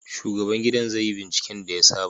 Shugaban gidan zai yi binciken da ya saba